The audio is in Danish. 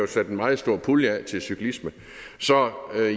sat en meget stor pulje af til cyklisme så